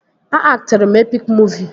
A aktịrị m epik muuvi